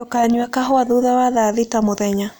Ndũkanyũe kahũa thũtha wa thaa thita mũthenya